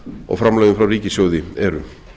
og framlögin frá ríkissjóði eru